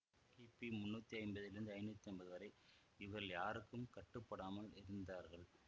கிபி முன்னூத்தி ஐம்பதிலிருந்து ஐநூத்தி ஐம்பது வரை இவர்கள் யாருக்கும் கட்டுப்படாமல் இருந்தார்கள்